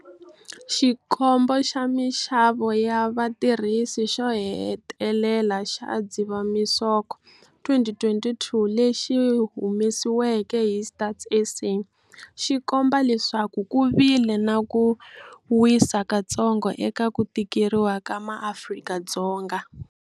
Xikombo xa Mixavo ya Vatirhisi xo hetelela xa Dzivamisoko 2022 lexi humesiweke hi Stats SA xi komba leswaku ku vile na ku wisa kutsongo eka ku tikeriwa ka MaAfrika-Dzonga.